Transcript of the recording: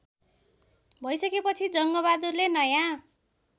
भइसकेपछि जङ्गबहादुरले नयाँ